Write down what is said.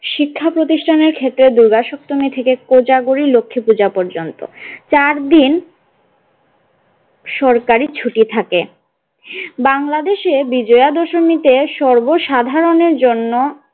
শিক্ষা প্রতিষ্ঠানের ক্ষেত্রে দূর্গা সপ্তমী থেকে কোজাগরী লক্ষ্মী পূজা পর্যন্ত চার দিন সরকারী ছুটি থাকে বাংলাদেশে বিজয়া দশমীতে সর্বসাধারণের জন্য।